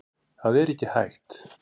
Það er ekki hægt.